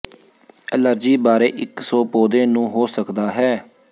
allergy ਬਾਰੇ ਇੱਕ ਸੌ ਪੌਦੇ ਨੂੰ ਹੋ ਸਕਦਾ ਹੈ